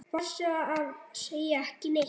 Passaðu að segja ekki neitt.